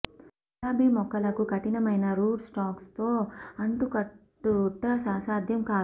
ఇది గులాబీ మొక్కలకు కఠినమైన రూట్ స్టాక్స్లో అంటుకట్టుట అసాధ్యం కాదు